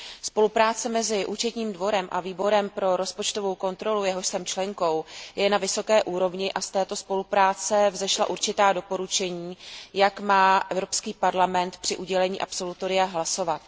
Spolupráce mezi Účetním dvorem a Výborem pro rozpočtovou kontrolu, jehož jsem členkou, je na vysoké úrovni a z této spolupráce vzešla určitá doporučení, jak má Evropský parlament při udělení absolutoria hlasovat.